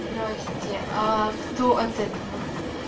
здравствуйте а кто от этого